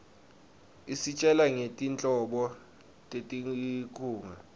isitjela ngetinhlobo tetinkhunga